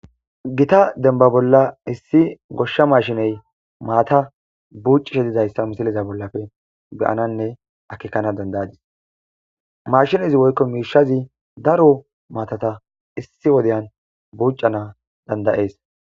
Gita denba bolla issi goshsha mashiney maata buuccishe dizayssa misiliza bollafe beyananne akekana dandayadis mashinezi woykko miishazi daro maatata issi wodyan buuca naa dandayees.